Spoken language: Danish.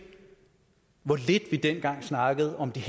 hvor lidt vi dengang snakkede om de